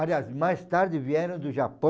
Aliás, mais tarde vieram do Japão...